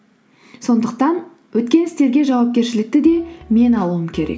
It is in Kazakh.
сондықтан өткен істерге жауапкершілікті де мен алуым керек